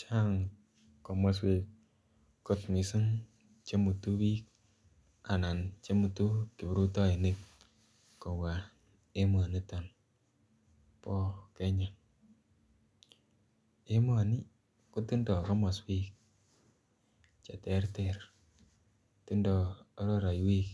Chang' komoswek kot mising' chemutu biik anan chemutu kiprutoinik kobwa emoniton bo Kenya emoni kotindoi komoswek cheterter tindoi araraiwek